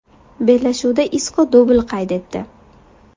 Bellashuvda Isko dubl qayd etdi.